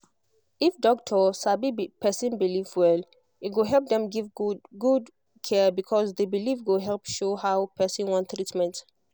if doctor sabi person belief well e go help dem give good give good care because the belief go help show how person want treatment